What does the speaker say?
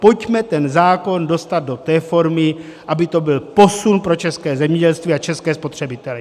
Pojďme ten zákon dostat do té formy, aby to byl posun pro české zemědělství a české spotřebitele.